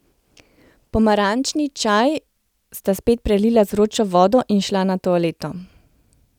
Pomarančni čaj sta spet prelila z vročo vodo in šla na toaleto.